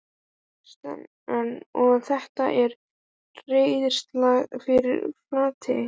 Kristinn: Og þetta er reiðarslag fyrir Flateyri?